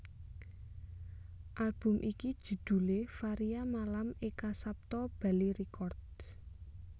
Album iki judhulé Varia Malam Eka Sapta Bali Records